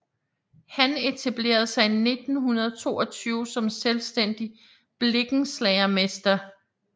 Han etablerede sig 1922 som selvstændig blikkenslagermester